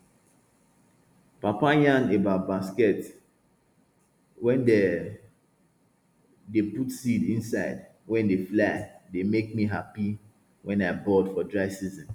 papa yarn about basket wey dem dey put seed inside wey de fly dey make me happy when i bored for dry season